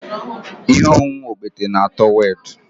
Ihe ọṅụṅụ okpete na-atọ werd